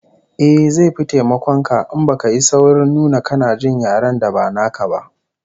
Eh, zai fi taimakon ka in baka yi saurin nuna kana jin yaren da ba naka ba